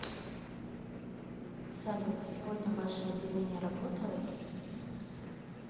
салют сегодня ваши отделения работают